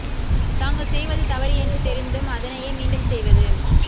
தாங்கள் செய்வது தவறு என்று தெரிந்தும் அதனையே மீண்டும் செய்வது